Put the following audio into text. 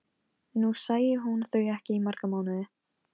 Þórinn, hvernig verður veðrið á morgun?